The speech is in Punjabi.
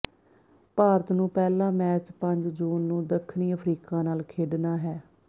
ਭਾਰਤ ਨੂੰ ਪਹਿਲਾ ਮੈਚ ਪੰਜ ਜੂਨ ਨੂੰ ਦੱਖਣੀ ਅਫਰੀਕਾ ਨਾਲ ਖੇਡਣਾ ਹੈ